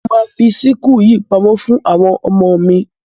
Mo máa fi síkù yìí pamọ́ fún àwọn ọmọmo mi.